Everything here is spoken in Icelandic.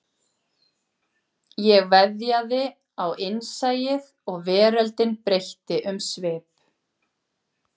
Ég veðjaði á innsæið og veröldin breytti um svip